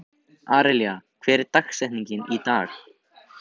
Árelía, hver er dagsetningin í dag?